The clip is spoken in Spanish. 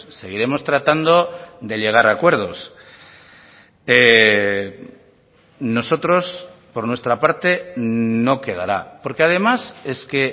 seguiremos tratando de llegar a acuerdos nosotros por nuestra parte no quedará porque además es que